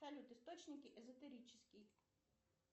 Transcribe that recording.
салют источники эзотерический